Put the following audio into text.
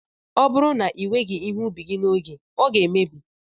Ọ bụrụ na iweghị ihe ubi gị n'oge, ọ ga-emebi